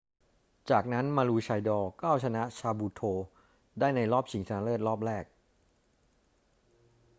จากนั้น maroochydore ก็เอาชนะ caboolture ได้ในรอบชิงชนะเลิศรอบแรก